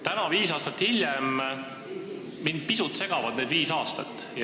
Täna, viis aastat hiljem, mind pisut segavad need viis aastat.